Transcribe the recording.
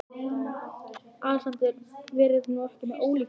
ALEXANDER: Verið nú ekki með ólíkindalæti.